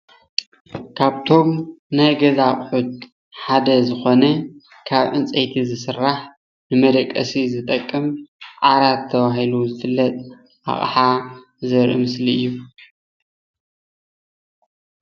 ካብቶም ናይ ገዛ ኣቁሑት ሓደ ዝኮነ ካብ ዕንጨይቲ ዝስራሕ ንመደቀሲ ዝጠቅም ዓራት ተባሂሉ ዝፍለጥ ኣቅሓ ዘርኢ ምስሊ እዩ፡፡